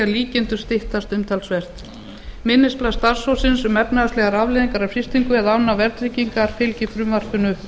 líkindum styttast umtalsvert minnisblað starfshópsins um efnahagslegar afleiðingar af frystingu eða afnámi verðtryggingar fylgir frumvarpinu